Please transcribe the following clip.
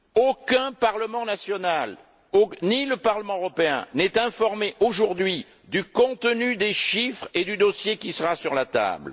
Aucun parlement national, ni le Parlement européen n'est informé aujourd'hui du contenu des chiffres et du dossier qui sera sur la table.